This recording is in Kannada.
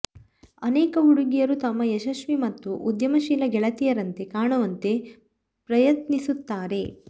ಅನೇಕ ಹುಡುಗಿಯರು ತಮ್ಮ ಯಶಸ್ವಿ ಮತ್ತು ಉದ್ಯಮಶೀಲ ಗೆಳತಿಯರಂತೆ ಕಾಣುವಂತೆ ಪ್ರಯತ್ನಿಸುತ್ತಾರೆ